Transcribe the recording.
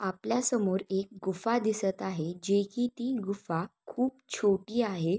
आपल्यासमोर एक गुफा दिसत आहे की जी ती गुफा खूप छोटी आहे.